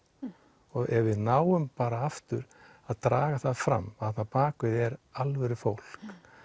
og ef við náum bara aftur að draga það fram að bakvið er alvöru fólk